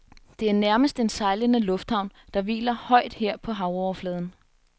Det er nærmest en sejlende lufthavn, der hviler højt her på havoverfladen.